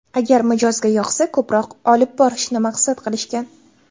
Agar mijozga yoqsa, ko‘proq olib borishni maqsad qilishgan.